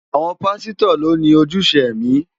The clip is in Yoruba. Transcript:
Àwọn pásítọ̀ lo ni ojúṣe ẹ̀mí.